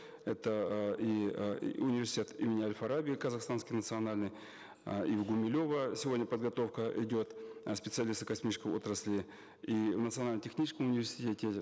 это э и э университет имени аль фараби казахстанский национальный э и в гумилева сегодня подготовка идет э специалистов космической отрасли и в национально техническом университете